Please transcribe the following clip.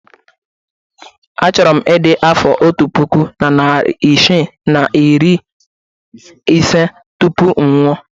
Achọrọ m ịdị afọ otu puku na narị isii na iri ise tupu m anwụọ.